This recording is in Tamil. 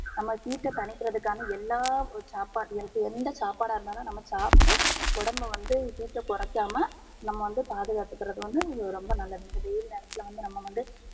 நம்ப heat ட தனிகர்துகான எல்லா சாப்பாட் எந்த சாப்பாடா இருந்தாலும் நம்ப சாப்ட்டு உடம்ப வந்து heat ட கொரைக்காம நம்ப வந்து பாதுகாத்துகறது வந்து ரொம்ப நல்லது இந்த வெயில் நேரத்துல வந்து நம்ப வந்து